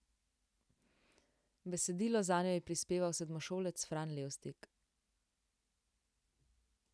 Besedilo zanjo je prispeval sedmošolec Fran Levstik.